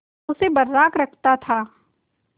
उसे बर्राक रखता था